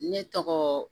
Ne tɔgɔ